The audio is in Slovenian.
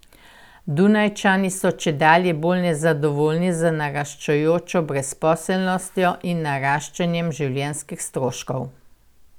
Dunajčani so čedalje bolj nezadovoljni z naraščajočo brezposelnostjo in naraščanjem življenjskih stroškov.